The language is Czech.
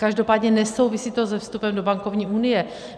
Každopádně nesouvisí to se vstupem do bankovní unie.